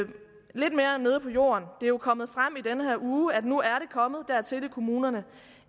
lidt mere nede på jorden det er jo kommet frem i denne her uge at det nu er kommet dertil i kommunerne